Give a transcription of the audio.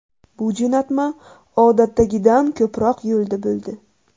Bu jo‘natma odatdagidan ko‘proq yo‘lda bo‘ldi.